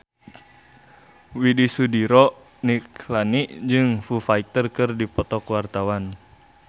Widy Soediro Nichlany jeung Foo Fighter keur dipoto ku wartawan